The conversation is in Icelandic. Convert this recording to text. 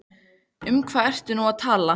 Um hvað ertu nú að tala?